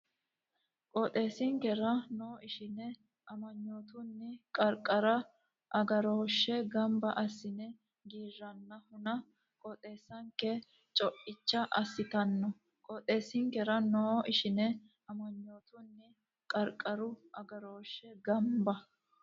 Qooxeessinkera noo ishine amanyootunni Qarqaru Agarooshshe gamba assine giiranna huna qooxeessanke co icha assitanno Qooxeessinkera noo ishine amanyootunni Qarqaru Agarooshshe gamba.